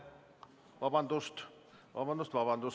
Vabandust!